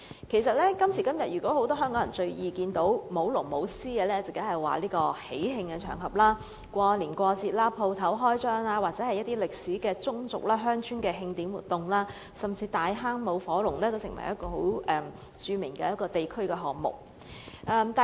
今時今日，香港人最易看到舞龍舞獅，自然是喜慶場合，過年過節、店鋪開張，又或是具有歷史的宗族、鄉村的慶典活動，甚至大坑舞火龍也是十分著名的地區項目。